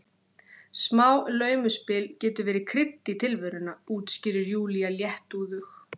Smá laumuspil getur verið krydd í tilveruna, útskýrir Júlía léttúðug.